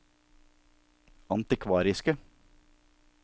antikvariske